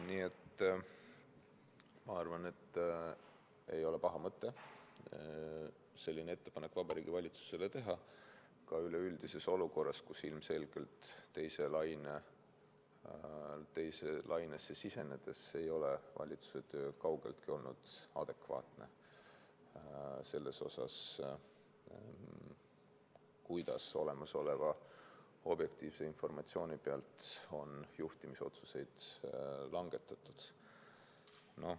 Nii et ma arvan, et ei ole paha mõte selline ettepanek Vabariigi Valitsusele teha ka üleüldises olukorras, kus ilmselgelt teise lainesse sisenedes ei ole valitsuse töö kaugeltki olnud adekvaatne selles osas, kuidas olemasoleva objektiivse informatsiooni pealt on juhtimisotsuseid langetatud.